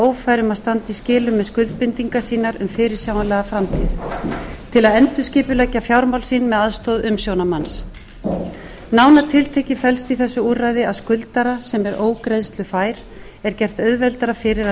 ófær um að standa í skilum með skuldbindingar sínar um fyrirsjáanlega framtíð til að endurskipuleggja fjármál sín með aðstoð umsjónarmanns nánar tiltekið felst í þessu úrræði að skuldara sem er ógreiðslufær er gert auðveldara fyrir að